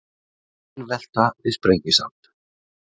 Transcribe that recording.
Bílvelta við Sprengisand